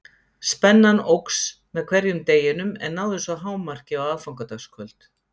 Spennan óx með hverjum deginum en náði svo hámarki á aðfangadagskvöld.